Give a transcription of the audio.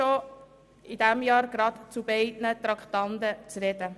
Ich erlaube mir, gleich zu beiden Traktanden zu sprechen.